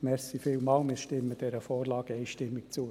Vielen Dank, wir stimmen dieser Vorlage einstimmig zu.